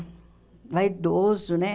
Vaidoso, né?